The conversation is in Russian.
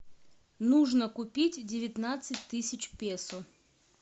нужно купить девятнадцать тысяч песо